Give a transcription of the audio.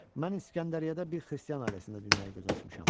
Mən İskəndəriyyədə bir xristian ailəsində dünyaya göz açmışam.